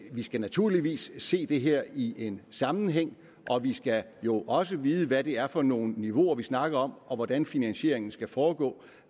vi skal naturligvis se det her i en sammenhæng og vi skal jo også vide hvad det er for nogle niveauer vi snakker om og hvordan finansieringen skal foregå